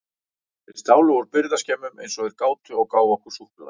Þeir stálu úr birgðaskemmum eins og þeir gátu og gáfu okkur súkkulaði.